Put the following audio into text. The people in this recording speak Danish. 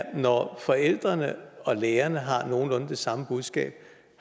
og når forældrene og lærerne har nogenlunde det samme budskab